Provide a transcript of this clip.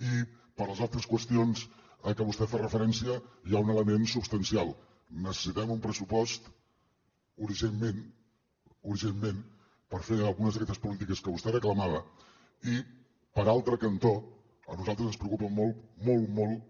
i per a les altres qüestions a què vostè fa referència hi ha un element substancial necessitem un pressupost urgentment urgentment per fer algunes d’aquestes polítiques que vostè reclamava i per altre cantó a nosaltres ens preocupen molt molt molt